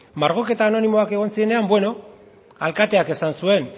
margoketa anonimoak egon zirenean beno alkateak esan zuen